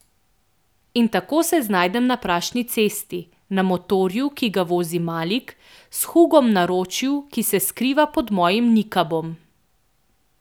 In tako se znajdem na prašni cesti, na motorju, ki ga vozi Malik, s Hugom v naročju, ki se skriva pod mojim nikabom.